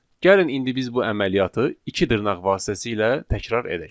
Gəlin indi biz bu əməliyyatı iki dırnaq vasitəsilə təkrar edək.